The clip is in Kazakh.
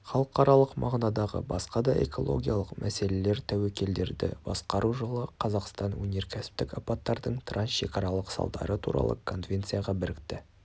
халықаралық мағынадағы басқа да экологиялық мәселелер туекелдерді басқару жылы қазақстан өнеркәсіптік апаттардың трансшекаралық салдары туралы конвенцияға бірікті